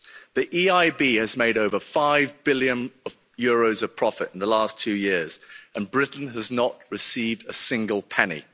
The EIB has made over EUR 5 billion of profit in the last two years and Britain has not received a single penny.